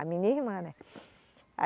A minha irmã, né?